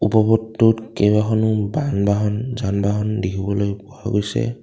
বহুতোত কেইবাখনো বান বাহন যান বাহন দেখিবলৈ পোৱা গৈছে।